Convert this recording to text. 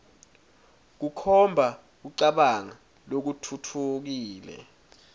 kukhomba kucabanga lokutfutfukile